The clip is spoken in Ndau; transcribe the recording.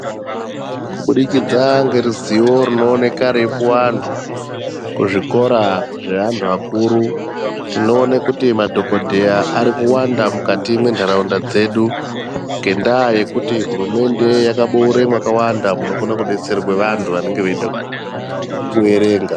Kubudikidza ngeruziwo runooneka rweipuwe anthu kuzvikora zveanthu akuru. Tinoona kuti madhokodheya ari kuwanda mukati mwentharaunda dzedu ngendaa yekuti hurumende yakaboore mwakawanda munodetserwe vanthu vanenge veida kuerenga.